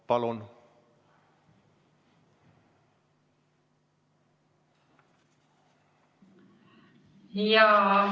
Palun!